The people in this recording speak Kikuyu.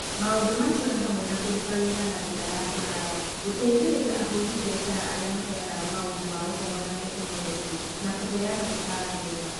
Maũndũ macio nĩ hamwe na kũruta wĩra na njĩra ya kũraya, gũteithĩrĩria ahuri biacara arĩa maheanaga maũndũ ma Ũhoro na Teknoroji, na kũheana mĩcaara mĩega.